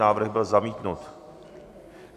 Návrh byl zamítnut.